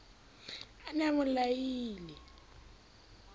a ne a mo laile